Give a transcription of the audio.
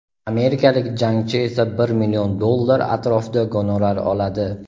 amerikalik jangchi esa bir million dollar atrofida gonorar oladi.